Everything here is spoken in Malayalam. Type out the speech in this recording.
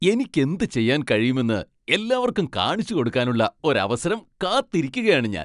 എനിക്കെന്ത് ചെയ്യാൻ കഴിയുമെന്ന് എല്ലാവർക്കും കാണിച്ചുകൊടുക്കാനുള്ള ഒരു അവസരം കാത്തിരിക്കുകയാണ് ഞാൻ.